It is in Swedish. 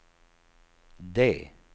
D